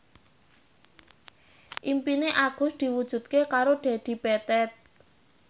impine Agus diwujudke karo Dedi Petet